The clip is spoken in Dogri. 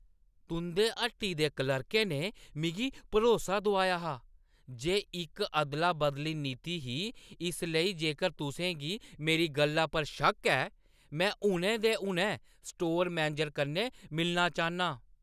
तुंʼदी हट्टी दे क्लर्कै ने मिगी भरोसा दोआया हा जे इकअदला-बदली नीति ही इस लेई जेकर तुसें गी मेरी गल्ला पर शक्क ऐ, मैं हुनै दे हुनै स्टोर मैनेजर कन्नै मिलना चाह्न्नां।